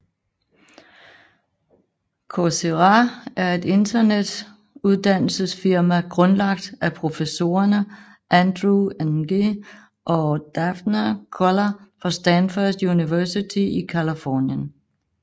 Coursera er et internet uddannelsesfirma grundlagt af professorerne Andrew Ng og Daphne Koller fra Stanford University i Californien